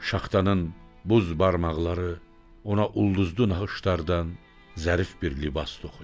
Şaxtanın buz barmaqları ona ulduzlu naxışlardan zərif bir libas toxuyur.